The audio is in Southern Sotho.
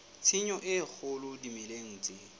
tshenyo e kgolo dimeleng tse